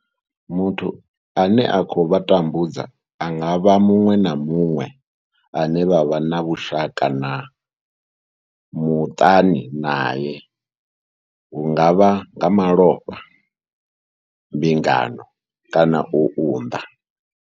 Muthu ane a khou vha tambudza a nga vha muṅwe na muṅwe ane vha vha na vhushaka muṱani nae hu nga vha nga malofha, mbingano kana u unḓa.